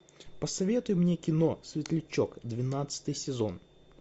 посоветуй мне кино светлячок двенадцатый сезон